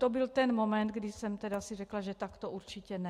To byl ten moment, kdy jsem si řekla, že takto určitě ne.